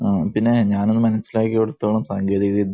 പിന്നെ, ഞാനൊന്നു മനസിലാക്കിയിടത്തോളം സാങ്കേതിക വിദ്യ